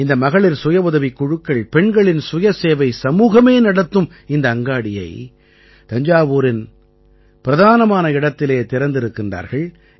இந்த மகளிர் சுயவுதவிக் குழுக்கள் பெண்களின் சுயசேவை சமூகமே நடத்தும் இந்த அங்காடியை தஞ்சாவூரின் பிரதானமான இடத்திலே திறந்திருக்கின்றார்கள்